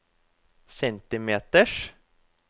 centimeters